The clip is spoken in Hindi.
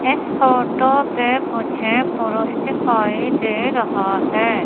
इस फोटो पे मुझे पुरुष दिखाई दे रहा हैं।